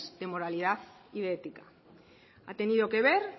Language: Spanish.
de moralidad y de ética ha tenido que ver